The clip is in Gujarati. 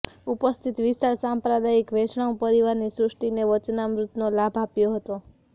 ઉપસ્થિત વિશાળ સાંપ્રદાયિક વૈષ્ણવ પરિવારની સૃષ્ટિને વચનામૃતનો લાભ આપ્યો હતો